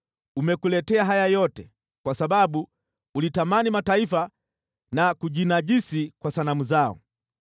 umekuletea haya yote, kwa sababu ulitamani mataifa na kujinajisi kwa sanamu zao.